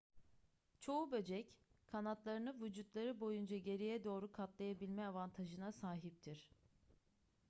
çoğu böcek kanatlarını vücutları boyunca geriye doğru katlayabilme avantajına sahiptir